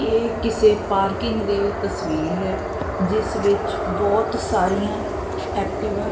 ਇਹ ਕਿਸੇ ਪਾਰਕਿੰਗ ਦੀ ਤਸਵੀਰ ਹੈ ਜਿਸ ਵਿੱਚ ਬਹੁਤ ਸਾਰੀਆਂ ਐਕਟਿਵਾ --